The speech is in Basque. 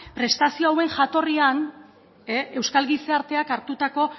prestazio hauen jatorrian euskal gizarteak hartutako